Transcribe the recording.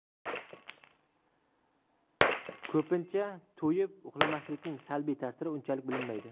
Ko‘pincha, to‘yib uxlamaslikning salbiy ta’siri unchalik bilinmaydi.